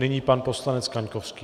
Nyní pan poslanec Kaňkovský.